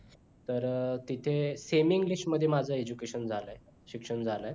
तर तिथं semi english मध्ये माझं education झालय शिक्षण झालय